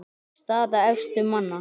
Staða efstu manna